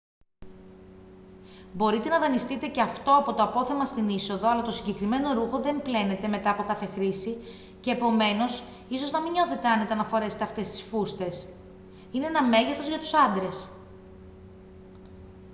μπορείτε να δανειστείτε και αυτό από το απόθεμα στην είσοδο αλλά το συγκεκριμένο ρούχο δεν πλένεται μετά από κάθε χρήση και επομένως ίσως να μην νιώθετε άνετα να φορέσετε αυτές τις φούστες είναι ένα μέγεθος για τους άντρες